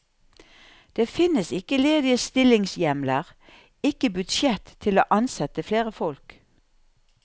Det finnes ikke ledige stillingshjemler, ikke budsjett til å ansette flere folk.